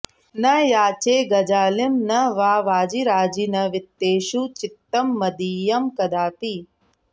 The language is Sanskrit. न याचे गजालिं न वा वाजिराजि न वित्तेषु चित्तं मदीयं कदापि